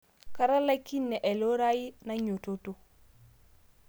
Katalakine ailurai nainyototo